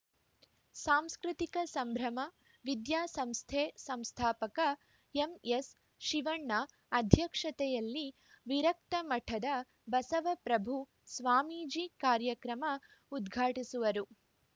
ಸಾಂಸ್ಕೃತಿಕ ಸಂಭ್ರಮ ವಿದ್ಯಾಸಂಸ್ಥೆ ಸಂಸ್ಥಾಪಕ ಎಂಎಸ್‌ಶಿವಣ್ಣ ಅಧ್ಯಕ್ಷತೆಯಲ್ಲಿ ವಿರಕ್ತಮಠದ ಬಸವಪ್ರಭು ಸ್ವಾಮೀಜಿ ಕಾರ್ಯಕ್ರಮ ಉದ್ಘಾಟಿಸುವರು